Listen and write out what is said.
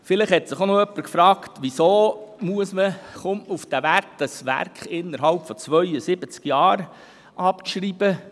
Vielleicht hat sich jemand gefragt, weshalb man auf diesen Wert kommt, das Werk innerhalb von 72 Jahren abzuschreiben.